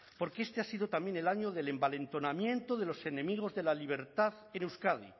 porque este ha sido también el año del envalentonamiento de los enemigos de la libertad en euskadi